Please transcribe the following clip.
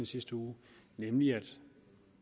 sidste uge nemlig at